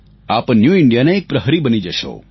આપ ન્યૂ Indiaના એક પ્રહરી બની જશો